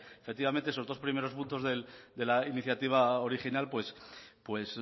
efectivamente esos dos primeros puntos de la iniciativa original pues